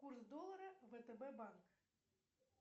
курс доллара втб банк